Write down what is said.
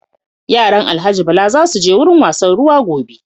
Yaran Alhaji Bala za su je wurin wasan ruwa gobe.